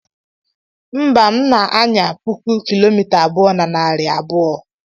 mba, m na-anya puku kilomita abụọ na narị abụọ